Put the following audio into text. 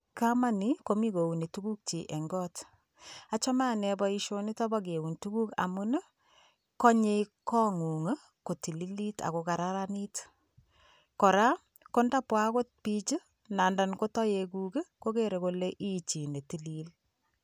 Kamani komi kouni tukukchi eng got, achame ane boisionito bo keun tukuk amun ii, konye kongung kotilit ak ko kararanit, kora ko ndabwa akot piich ii nandan ko toekuk ii, kokere kole i chi ne tilil.